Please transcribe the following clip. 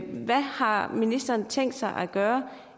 hvad har ministeren tænkt sig at gøre